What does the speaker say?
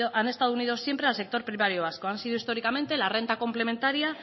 han estado unidos siempre al sector primario vasco han sido históricamente la renta complementaria